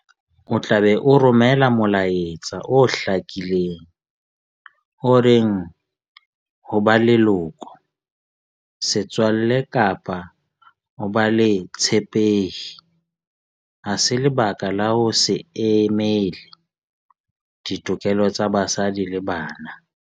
O tla be o romela molaetsa o hlakileng o reng ho ba leloko, setswalle kapa ho ba le botshepehi ha se lebaka la ho se emele ditokelo tsa basadi le bana.